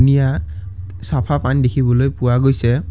নীয়া চাফা পানী দেখিবলৈ পোৱা গৈছে।